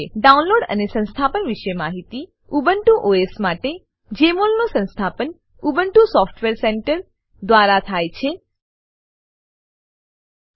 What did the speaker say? download અને સંસ્થાપન વિશે માહિતી ઉબુન્ટુ ઓએસ માટે જમોલ નું સંસ્થાપન Ubuntu software centre Ubuntu software centre દ્વારા થાય છે